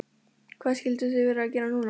Hvað skyldu þau vera að gera núna?